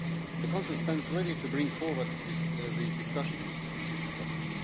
The Council stands ready to bring forward the discussions on this topic.